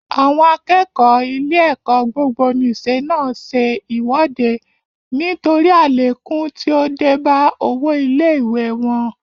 Àwọn akẹ́kọ̀ọ́ ilé-ẹ̀kọ́ gbogbonìṣe náà ṣe ìwọ́de nítorí àlékún tí ó dé bá owó ilé ìwée wọn.